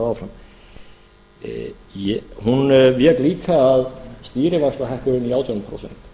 áfram hún vék líka að stýrivaxtahækkuninni í átján prósent